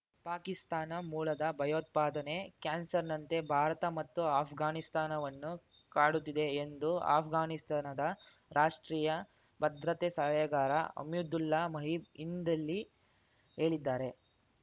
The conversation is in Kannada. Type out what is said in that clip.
ಪಾಕಿಸ್ತಾನ ಮೂಲದ ಭಯೋತ್ಪಾದನೆ ಕ್ಯಾನ್ಸರ್‌ನಂತೆ ಭಾರತ ಮತ್ತು ಅಫ್ಘಾನಿಸ್ತಾನವನ್ನು ಕಾಡುತ್ತಿದೆ ಎದು ಅಫ್ಘಾನಿಸ್ತಾನದ ರಾಷ್ಟ್ರೀಯ ಭದ್ರತೆ ಸಲಹೆಗಾರ ಹಮೀದುಲ್ಲಾ ಮಹೀಬ್ ಇಂದಿಲ್ಲಿ ಹೇಳಿದ್ದಾರೆ